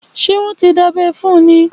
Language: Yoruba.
Ṣé wọn tí dábẹ́ fún un ní?